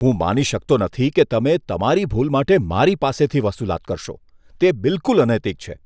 હું માની શકતો નથી કે તમે તમારી ભૂલ માટે મારી પાસેથી વસૂલાત કરશો. તે બિલકુલ અનૈતિક છે.